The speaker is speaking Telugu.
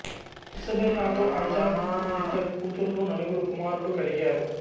ఇసబెల్లాతో ఐజాక్ కు ఇద్దరు కూతుర్లు నలుగురు కుమారులు కలిగారు